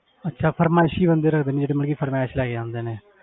ਅੱਛਾ ਫਰਮਾਇਸੀ ਬੰਦੇ ਰੱਖਦੇ ਨੇ ਜਿਹੜੇ ਮਤਲਬ ਕਿ ਫਰਮਾਇਸ ਲੈ ਕੇ ਜਾਂਦੇ ਨੇ